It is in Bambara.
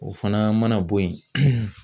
O fana mana bɔ yen